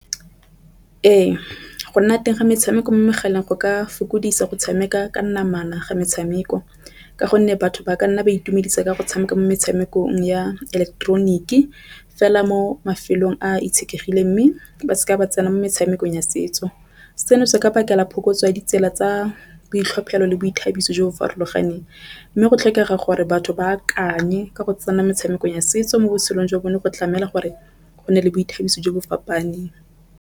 Ee, go nna teng ga metshameko mo megaleng go ka fokoditse go tshameka ka namana ga metshameko, ka gonne batho ba ka nna ba itumedisa ka go tshameka mo metshamekong ya eleketeroniki fela mo mafelong a itshetlegile mme ba se ke ba tsena mo metshamekong ya setso. Seno se ka bakela phokotso ya ditsela tsa boitlhophelo le boithabiso jo bo farologaneng, mme go tlhokega gore batho ba akanye ka go tsena metshameko ya setso mo botshelong jwa bone go tlamela gore go nne le boithabiso jo bo fapaneng.